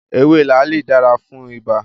Ewé làálì dára fún ibà